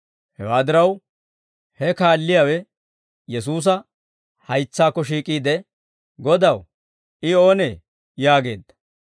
Hewaa diraw, he kaalliyaawe Yesuusa haytsaakko shiik'iide, «Godaw, I oonee?» yaageedda.